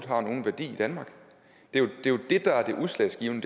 har nogen værdi i danmark det er jo det der er det udslagsgivende